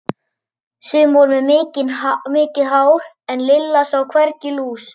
Sum voru með mikið hár en Lilla sá hvergi lús.